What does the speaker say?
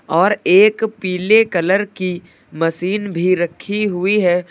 और एक पीले कलर की मशीन भी रखी हुई है।